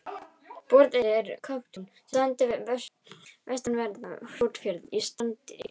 Borðeyri er kauptún sem stendur við vestanverðan Hrútafjörð í Strandasýslu.